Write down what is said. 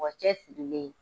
Mɔgɔ cɛsirilen ye